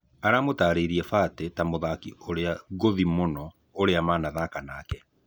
Aramũtarĩirie Batĩ ta mũthaki ũrĩa ngũthi mũno ũrĩa anathaka nake.